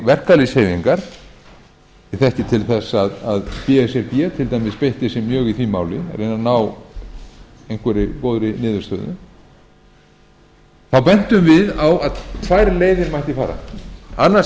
verkalýðshreyfingar ég þekki til þess að b s r b til dæmis beitti sér mjög í því máli að reyna að ná einhverri góðri niðurstöðu þá bentum við á að tvær leiðir mætti fara annars